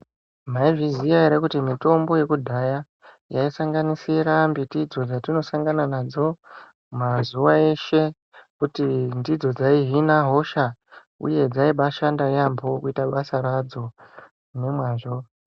Maizviziya ere kuti mitombo yekudhaya yaisanganisira mbiti idzo dzatinosangana nadzo mazuva eshe. Kuti ndidzo dzaihina hosha, uye dzaibashanda yaambo kuita basa radzo nemwazvo.